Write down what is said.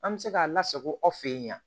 An bɛ se k'a lasako aw fɛ yen